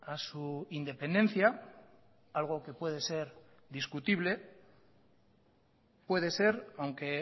a su independencia algo que puede ser discutible puede ser aunque